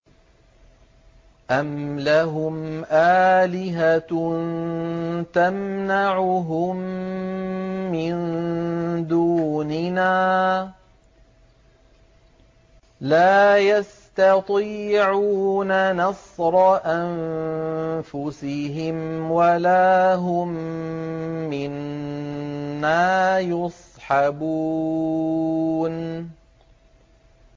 أَمْ لَهُمْ آلِهَةٌ تَمْنَعُهُم مِّن دُونِنَا ۚ لَا يَسْتَطِيعُونَ نَصْرَ أَنفُسِهِمْ وَلَا هُم مِّنَّا يُصْحَبُونَ